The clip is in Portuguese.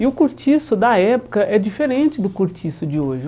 E o cortiço da época é diferente do cortiço de hoje.